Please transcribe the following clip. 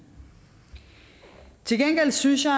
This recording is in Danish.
til gengæld synes jeg